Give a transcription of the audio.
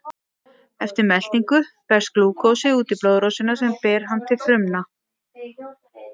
Eftir meltingu berst glúkósi út í blóðrásina sem ber hann til frumna.